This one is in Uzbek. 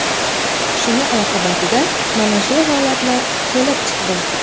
Shuni oqibatida mana shu holatlar kelib chiqdi.